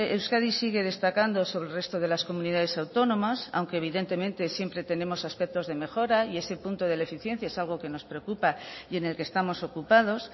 euskadi sigue destacando sobre el resto de las comunidades autónomas aunque evidentemente siempre tenemos aspectos de mejora y ese punto de la eficiencia es algo que nos preocupa y en el que estamos ocupados